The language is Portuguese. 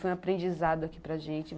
Foi um aprendizado aqui para gente.